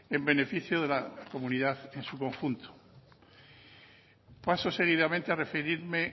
en beneficio de la comunidad en su conjunto paso seguidamente a referirme